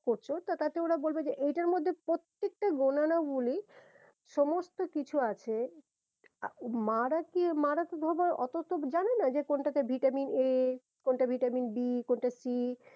করছো তো তাতে ওরা বলবে যে এইটার মধ্যে প্রত্যেকটা গোনানো গুণী সমস্ত কিছু আছে মারা আর কি মারা তো ধোবো ওতো তো জানে না যে কোনটাতে ভিটামিন এ কোনটা ভিটামিন বিকোনটা ভিটামিন সি